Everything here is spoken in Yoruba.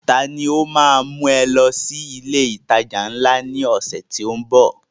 Ta ni ó ma mú ẹ lọ sí ilé ìtajà ńlá náà ní ọ̀sẹ̀ tó ń bọ̀?